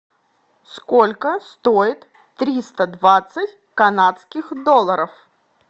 сколько стоит триста двадцать канадских долларов